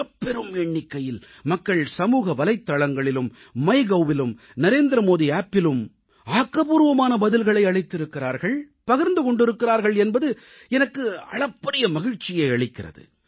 மிகப்பெரும் எண்ணிக்கையில் மக்கள் சமூகவலைத்தளங்களிலும் மைகவ் இணைய தளத்திலும் நரேந்திர மோடி செயலியிலும் ஆக்கப்பூர்வமான பதில்களை அளித்திருக்கிறார்கள் பகிர்ந்து கொண்டிருக்கிறார்கள் என்பது எனக்கு அளப்பரிய மகிழ்ச்சியை அளிக்கிறது